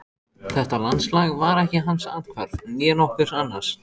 Þetta landslag var ekki hans athvarf, né nokkurs annars.